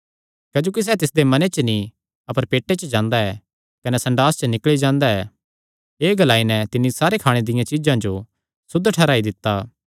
क्जोकि सैह़ तिसदे मने च नीं अपर पेटे च जांदा ऐ कने संडास च निकल़ी जांदा ऐ एह़ ग्लाई नैं तिन्नी सारी खाणे दियां चीज्जां जो सुद्ध ठैहराई दित्ता